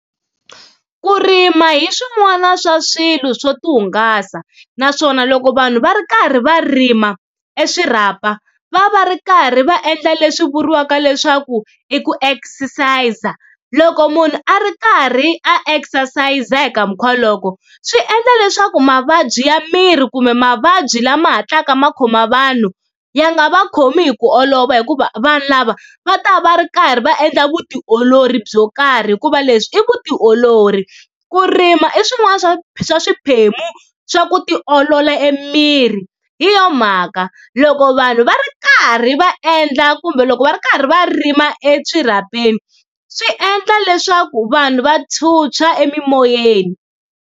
Ku rima hi swin'wana swa swilo swo tihungasa naswona loko vanhu va ri karhi va rima e swirhapa va va ri karhi va endla leswi vuriwaka leswaku i ku exercise, loko munhu a ri karhi a exercises swi endla leswaku mavabyi ya miri kumbe mavabyi lama hatlaka ma khoma vanhu ya nga vakhomi hi ku olova hikuva vanhu lava va ta va ri karhi va endla vutiolori byo karhi hikuva leswi i vutiolori. Ku rima i swin'wana swa swa swiphemu swa ku tiolola e miri, hi yona mhaka loko vanhu va ri karhi va endla kumbe loko va ri karhi va rima eswirhapeni swi endla leswaku vanhu va phyuphya emimoyeni.